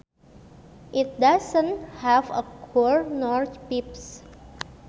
It does not have a core nor pips